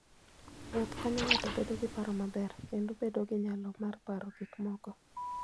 Wuoth konyo ng'ato bedo gi paro maber kendo bedo gi nyalo mar paro gik moko.